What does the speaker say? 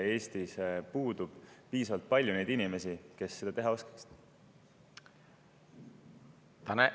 Eestis ei ole piisavalt palju neid inimesi, kes seda teha oskavad.